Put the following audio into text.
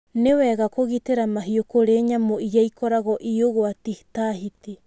Nĩ wega kũgitira mahiũ kũri nyamũ iria ikoragwo i ũgwati ta hiti.